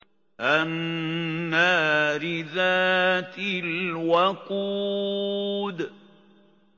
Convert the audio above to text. النَّارِ ذَاتِ الْوَقُودِ